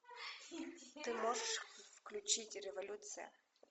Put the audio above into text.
ты можешь включить революция